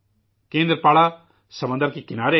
کیندرپاڑا سمندر کے کنارے ہے